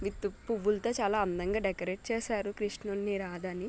With పువ్వుల్తో చాలా decorate చేసారు కృష్ణుణ్ణి రాధని .